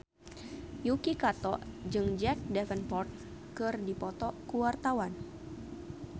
Yuki Kato jeung Jack Davenport keur dipoto ku wartawan